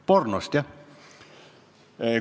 Pornost, jah!